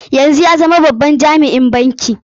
Yanzu ya zama babban jami'i a banki.